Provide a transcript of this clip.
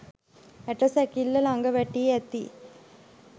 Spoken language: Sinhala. ඇට සැකිල්ල ලඟ වැටී ඇති